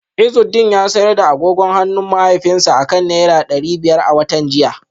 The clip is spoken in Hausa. Izudeen ya sayar da agogon hannun mahaifinsa akan naira dari biyar a watan jiya